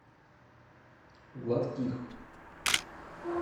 гладких